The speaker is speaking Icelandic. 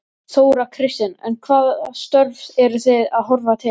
Þóra Kristín: En hvaða störf eru þið að horfa til?